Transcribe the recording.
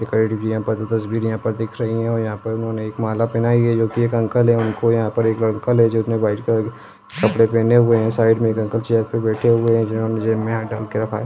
--पर जो तस्वीर यहा पर दिख रही है वो यहा पर एक माला पहनाइ हुई है जो की एक अंकल है उनको यहा पर एक अंकल है जिनने वाईट कलर के कपड़े पहने हुये है साइड मे एक अंकल चेयर पे बैठे हुये है जिनहोने जेब मे हाथ डाल के रखा है।